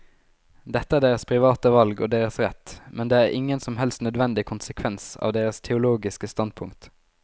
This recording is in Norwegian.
Dette er deres private valg og deres rett, men det er ingen som helst nødvendig konsekvens av deres teologiske standpunkt.